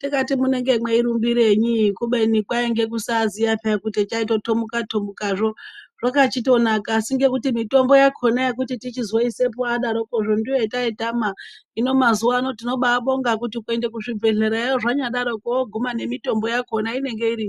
tikati munenge mweirumburinyi kubeni kwainge kusaziya peya kuti chaitotomuka tomuka zvoo zvakachitonaka. Asi ngokuti mitombo yakona yokuti tichizoisepo adarokozvo ndoyo yataitama. Hino mazuwa ano tinobabonga kuti kuenda kuchibhedhleyayo zvadaroko woguma nemitombo yakona inenge iriyo.